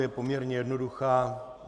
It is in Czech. Je poměrně jednoduchá.